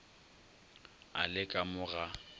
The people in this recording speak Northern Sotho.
a le ka mo ga